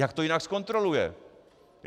Jak to jinak zkontroluje?